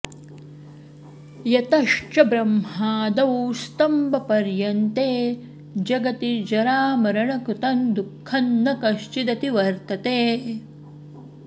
यतश्च ब्रह्मादौ स्तम्बपर्यन्ते जगति जरामरणकृतं दुःखं न कश्चिदतिवर्तते